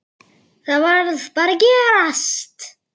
Og honum gekk bara vel.